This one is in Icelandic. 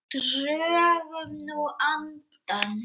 Drögum nú andann.